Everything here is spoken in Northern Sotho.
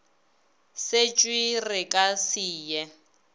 setšwe re ka se ye